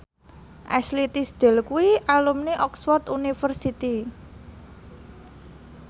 Ashley Tisdale kuwi alumni Oxford university